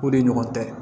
O de ɲɔgɔn tɛ